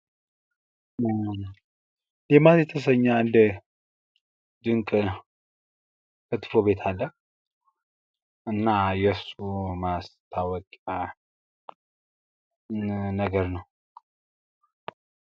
ሌማት የሚባል አንድ ድንቅ ክትፎ ቤት አለ። እና የሱ ማስታወቂያ ነገር ነው ።